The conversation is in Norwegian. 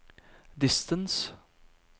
distance